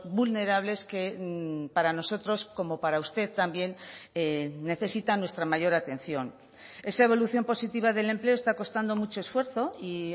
vulnerables que para nosotros como para usted también necesitan nuestra mayor atención esa evolución positiva del empleo está costando mucho esfuerzo y